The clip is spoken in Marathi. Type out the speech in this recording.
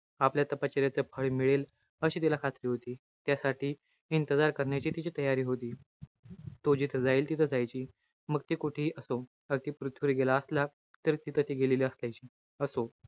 आपल्या तपश्चर्येचं फळ मिळेल अशी तिला खात्री होती. त्यासाठी करण्याची तिची तयारी होती. तो जिथं जाईल तिथं जायची. मग ते कुठेही असो. अगदी पृथ्वीवर गेला असला, तर ती तिथं गेलेली असायची. असो.